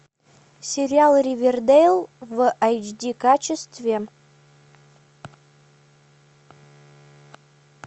сериал ривердэйл в эйч ди качестве